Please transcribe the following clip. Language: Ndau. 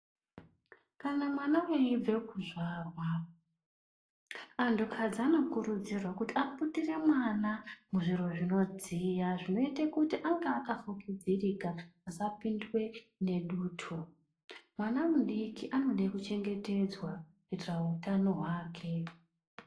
Kana mwana eyibve kuzvarwa anhukadzi anokurudzirwa kuti aputire mwana muzviro zvinodziya zvinoite kuti ange akafukidzirika asapindwe nedutu. Mwana mudiki anode kuchengetedzwa utano hwake.